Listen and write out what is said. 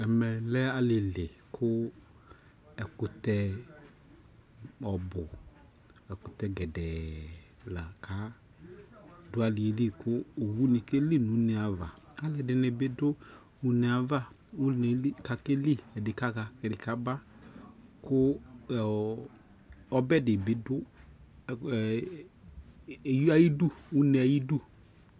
ɛmɛ lɛ alili kʋ ɛkʋtɛ ɔbʋ, ɛkʋtɛ gɛdɛɛ laka adʋ aliɛli kʋ ɔwʋni kɛli nʋ ʋnɛ aɣa kʋ alʋɛdini bidʋ ɔnɛ aɣa ʋnɛli kʋ akɛli kʋ akaha, ɛdi kaba kʋ ɔbɛ dibi dʋ ɔnɛ ayidʋ